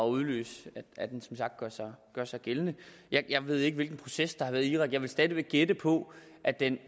udløse at den som sagt gør sig gør sig gældende jeg ved ikke hvilken proces der har været i irak jeg vil stadig gætte på at den